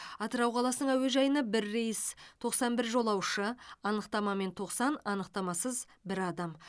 атырау қаласының әуежайына бір рейс тоқсан бір жолаушы анықтамамен тоқсан анықтамасыз бір адам